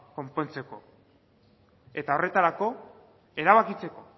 konpontzeko eta horretarako erabakitzeko